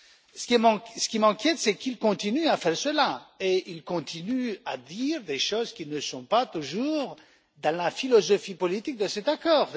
Ce qui m'inquiète, c'est qu'ils continuent à faire cela, et ils continuent à dire des choses qui ne sont pas toujours dans la philosophie politique de cet accord.